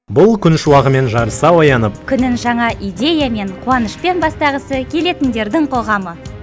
бұл күн шуағымен жарыса оянып күнін жаңа идеямен қуанышпен бастағысы келетіндердің қоғамы